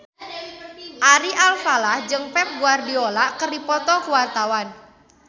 Ari Alfalah jeung Pep Guardiola keur dipoto ku wartawan